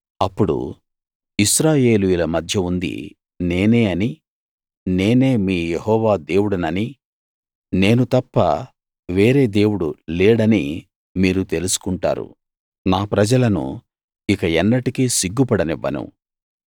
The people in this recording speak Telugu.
అప్పుడు ఇశ్రాయేలీయుల మధ్య ఉంది నేనే అనీ నేనే మీ యెహోవా దేవుడిననీ నేను తప్ప వేరే దేవుడు లేడనీ మీరు తెలుసుకుంటారు నా ప్రజలను ఇక ఎన్నటికీ సిగ్గుపడనివ్వను